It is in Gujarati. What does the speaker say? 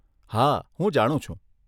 હા, હું જાણું છું.